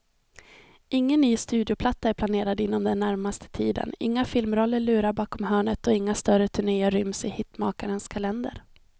Ingen ny studioplatta är planerad inom den närmaste tiden, inga filmroller lurar bakom hörnet och inga större turnéer ryms i hitmakarens kalender.